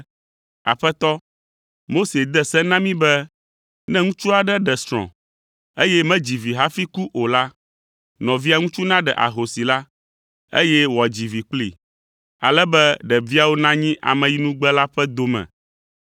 “Aƒetɔ, Mose de se na mí be ne ŋutsu aɖe ɖe srɔ̃, eye medzi vi hafi ku o la, nɔvia ŋutsu naɖe ahosi la, eye wòadzi vi kplii, ale be ɖeviawo nanyi ameyinugbe la ƒe dome.